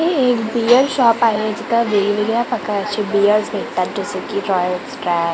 हे एक beer shop आहे जिथं वेगवेगळ्या प्रकारचे बियर भेटतात जसे की रॉयल स्टॅग --